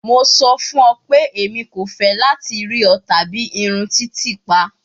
Mo sọ fun ọ pe emi ko fẹ lati rii ọ tabi irun titiipa